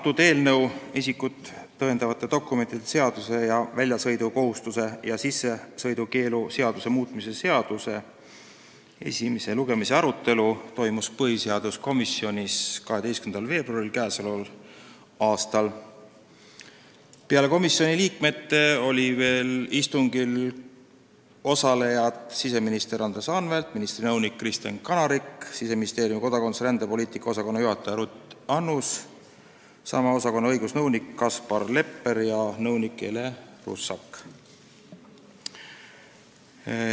Selle eelnõu, isikut tõendavate dokumentide seaduse ning väljasõidukohustuse ja sissesõidukeelu seaduse muutmise seaduse eelnõu arutelu enne esimest lugemist toimus põhiseaduskomisjonis 12. veebruaril k.a. Peale komisjoni liikmete osalesid istungil veel siseminister Andres Anvelt, ministri nõunik Kristen Kanarik, Siseministeeriumi kodakondsus- ja rändepoliitika osakonna juhataja Ruth Annus ning sama osakonna õigusnõunik Kaspar Lepper ja nõunik Ele Russak.